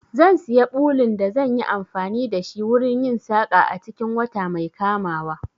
Zan siya ɓulun da zan yi amfani da shi wurin yin saƙa a cikin wata mai kamawa.